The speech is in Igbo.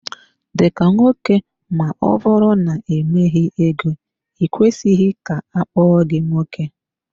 Dika nwoke ma ọbụrụ na i nweghị ego i kwesịghị ka akpọọ gi nwoke.